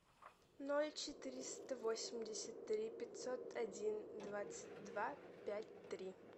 ноль четыреста восемьдесят три пятьсот один двадцать два пять три